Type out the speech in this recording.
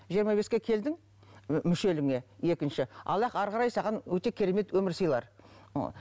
жиырма беске келдің мүшеліңе екінші аллах әрі қарай саған өте керемет өмір сыйлар